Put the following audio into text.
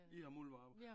I har muldvarper